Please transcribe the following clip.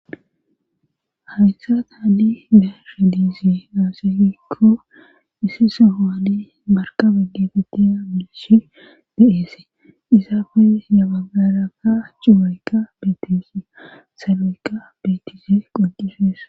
Hawythat haddi dashe diizi naosseekko issi sahowaani markabe geetetiya miishi deeese isaafe yabagaraka cuaykka betisi saloyka betize qoqifesa